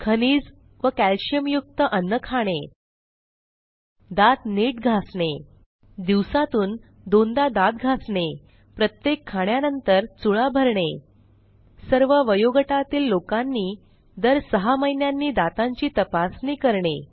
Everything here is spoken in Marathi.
खनिज व कॅल्शियमयुक्त अन्न खाणे दात नीट घासणे दिवसातून दोनदा दात घासणे प्रत्येक खाण्यानंतर चुळा भरणे सर्व वयोगटातील लोकांनी दर सहा महिन्यांनी दातांची तपासणी करणे